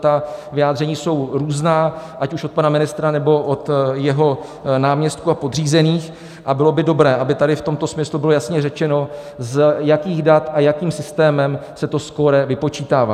Ta vyjádření jsou různá, ať už od pana ministra, nebo od jeho náměstků a podřízených, a bylo by dobré, aby tady v tomto smyslu bylo jasně řečeno, z jakých dat a jakým systémem se to skóre vypočítává.